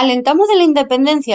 al entamu de la independencia